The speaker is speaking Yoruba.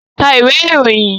Ka ìwé ìròyìn!